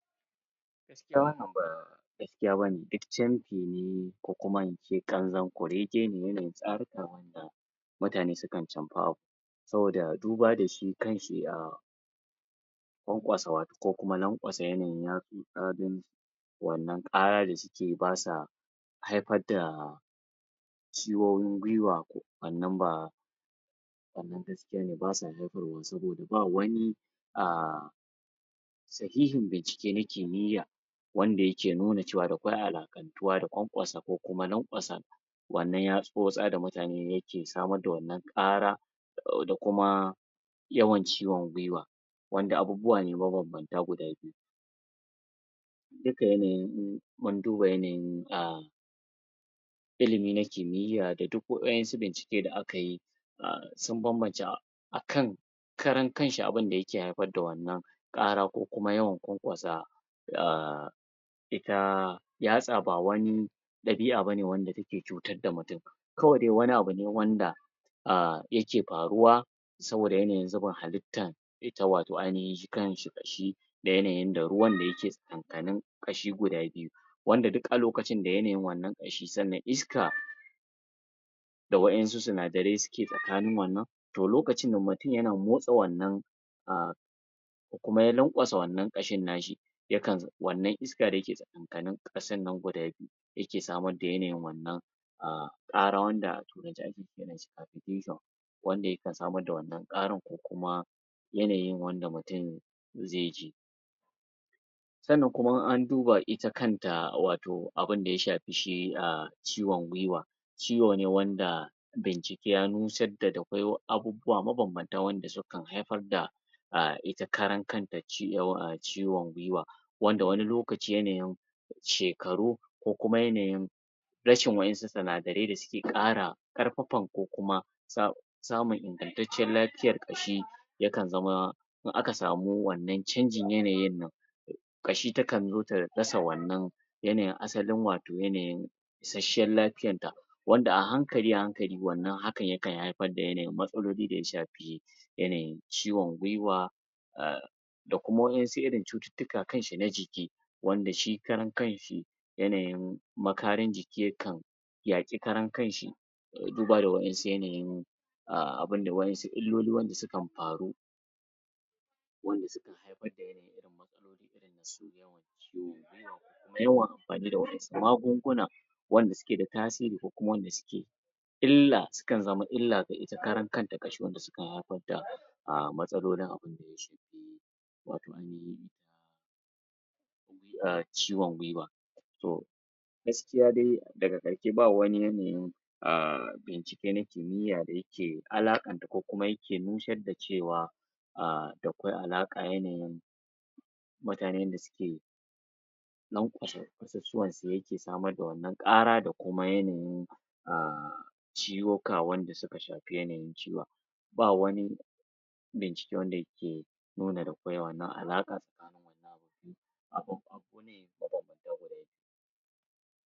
Gaskiya wannan ba gaskiya ba ne duk camfi ne ko kuma in ce ƙanzon kurege ne wannan tsaruka wanda mutane camfa? saboda duba da su kansu a kwankwasa wat ko kuma lankwansa yanayin yatsu? wannan ƙara? ba sa haifar da ciwowin guiwa wannan ba? ba sa jefarwa sai dai ba wani a sahihin bincike na kimiyya wanda yake nuna cewa da kwai alaƙantuwa da kwankwasa ko lanƙwasa wannan yatsotsa da mutane yake samar da wannan ƙara da kuma yawan ciwon guiwa wanda abubuwa ne mabambanta guda biyu duka yanayin mun duba yanayin a ilimi na kimiyya da duk wa'yansu bincike da aka yi a sun bambance akan karan kanshi abida yake haifar da wannan ƙara ko kuma yawan kwankwasa a ita yatsa ba wani ɗabi'a ba ne wanda take cutar mutum kawai dai wani abu ne wanda a yake faruwa saboda yanayin zubin halittan ita wato ainahin kamshi shi yanayin da ruwan da yake tsakankanin ƙashi guda biyu wanda duk a lokacin da ya nemi wannan ƙashi sannan iska da wa'yansu sinadarai suke tsakanin wannan to lokacin nan mutum yana motsa wannan a kuma ya lankwasa wannan ƙashin na shi yakan wannan iska iska dake tsakankanin ƙashin nan guda biyu yake samar da yanayin wannan a ƙara wanda a turance ake kiranshi? wanda yakan samar da wannan ƙara ko kuma yanayin wanda mutum zai ji sannan kuma in an duba ita kanta wato abinda ya shafi shi a ciwon guiwa ciwo ne wanda bincike na nusar da da kwai abubuwa mabambanta wanda sukan haifar da ita karan kanta ciwon a ciwon guiwa wanda wani lokacin yanayin shekaru ko kuma yanayin rashin wa'yansu sinadarai da suke ƙara ƙarfafar ko kuma sa samun ingantacciyar lafiyar ƙashi yakan zama in aka samu wannan canjin yanayi nan kashi takan zo ta rasa wannan yanayin asalin wato yanayin isasshiyar lafiyar da wanda a hankali a hankali wannan hakan yakan haifar da yanayin matsaloli da ya shafi yanayin ciwon guiwa a da kuma wa'yansu irin cututtuka kanshi na jiki wanda shi karan kanshi yanayin makarin jiki yakan yaƙi karankanshi duba da wa'yansu yanayin a abinda wa'yansu illoli wanda sukan faru wanda sukan haifar da irin matsaloli irin na su yin ciwon guiwa ko kuma yawan amfani da wa'yansu da magunguna wanda suke da tasiri ko wanda suke illa sukan zama illa ga ita karankanta ƙashi wanda sukan haifar da a matsalolin abinda ya shafi wayo yanayin ciwon guiwa to gaskiya dai daga ƙarshe ba wani yanayin a bincike na kimiyya da yake alaƙanta ko kuma yake nusar da cewa a da kwai alaƙa yanayi mutanen da suke lankwasa ƙasusuwansu yanda yake samar da wannan ƙara da kuma yanayin a ciwoka wanda suka shafi yanayin ciwon ba wani bincike wanda yake nuna akwai wannan alaƙa tsakanin wannan abun? mabambanta guda biyu